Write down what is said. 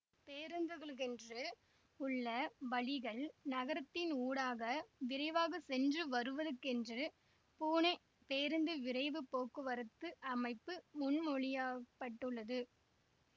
பேருந்துகளுக்கென்று உள்ள வழிகள் நகரத்தின் ஊடாக விரைவாக சென்று வருவதற்கென்று பூனே பேருந்து விரைவு போக்குவரத்து அமைப்பு முன்மொழியாப்பட்டுள்ளது